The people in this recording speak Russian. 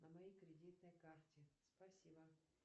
на моей кредитной карте спасибо